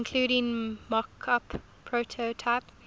including mockup prototype